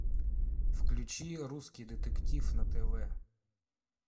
включи русский детектив на тв